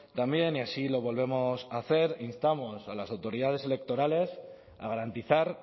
también y así lo volvemos a hacer instamos a las autoridades electorales a garantizar